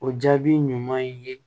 O jaabi ɲuman ye